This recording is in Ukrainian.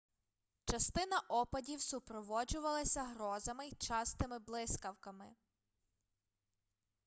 частина опадів супроводжувалася грозами й частими блискавками